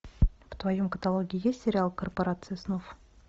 в твоем каталоге есть сериал корпорация снов